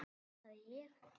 Hvað sagði ég?